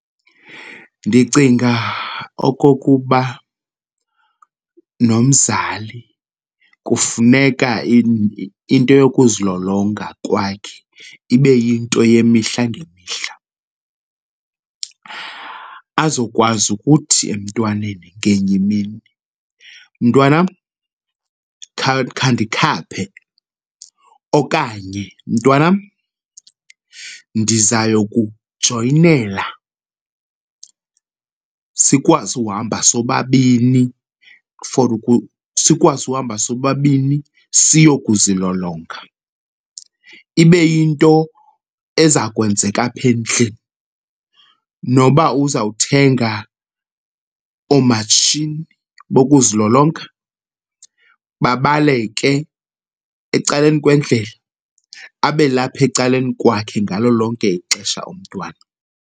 Ndicinga okokuba nomzali kufuneka into yokuzilolonga kwakhe ibe yinto yemihla ngemihla azokwazi ukuthi emntwaneni ngenye imini, mntwanam, khandikhaphe okanye mntwanam, ndizayokukujoyinela sikwazi uhamba sobabini for sikwazi uhamba sobabini siyokuzilolonga. Ibe yinto eza kwenzeka apha endlini noba uzawuthenga oomatshini bokuzilonga, babaleke ecaleni kwendlela, abe lapha ecaleni kwakhe ngalo lonke ixesha umntwana.